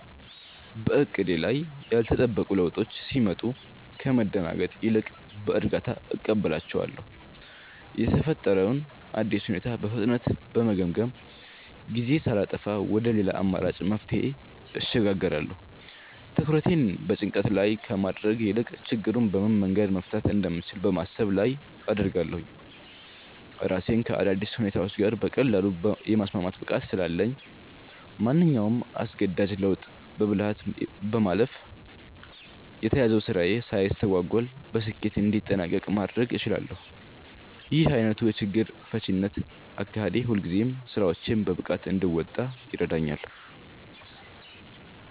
በዕቅዶቼ ላይ ያልተጠበቁ ለውጦች ሲመጡ ከመደናገጥ ይልቅ በእርጋታ እቀበላቸዋለሁ። የተፈጠረውን አዲስ ሁኔታ በፍጥነት በመገምገም፣ ጊዜ ሳላጠፋ ወደ ሌላ አማራጭ መፍትሄ እሸጋገራለሁ። ትኩረቴን በጭንቀት ላይ ከማድረግ ይልቅ ችግሩን በምን መንገድ መፍታት እንደምችል በማሰብ ላይ አደርጋለሁ። ራሴን ከአዳዲስ ሁኔታዎች ጋር በቀላሉ የማስማማት ብቃት ስላለኝ፣ ማንኛውንም አስገዳጅ ለውጥ በብልሃት በማለፍ የተያዘው ስራዬ ሳይስተጓጎል በስኬት እንዲጠናቀቅ ማድረግ እችላለሁ። ይህ ዓይነቱ የችግር ፈቺነት አካሄዴ ሁልጊዜም ስራዎቼን በብቃት እንድወጣ ይረዳኛል።